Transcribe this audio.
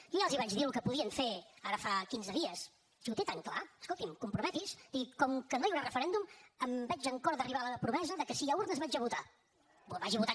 jo ja els vaig dir el que podien fer ara fa quinze dies si ho té tan clar escolti’m comprometi’s digui com que no hi haurà referèndum em veig amb cor d’arribar a la promesa de que si hi ha urnes vaig a votar